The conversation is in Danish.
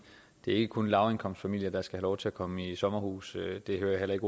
det ikke kun er lavindkomstfamilier der skal have lov til at komme i sommerhus det hører jeg heller ikke